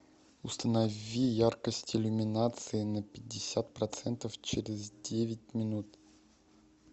установи яркость иллюминации на пятьдесят процентов через девять минут